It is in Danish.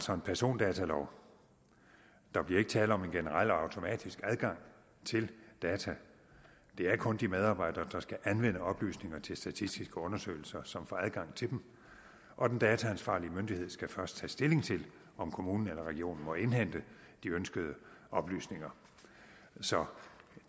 har en persondatalov der bliver ikke tale om en generel og automatisk adgang til data det er kun de medarbejdere der skal anvende oplysninger til statistiske undersøgelser som får adgang til dem og den dataansvarlige myndighed skal først tage stilling til om kommunen eller regionen må indhente de ønskede oplysninger så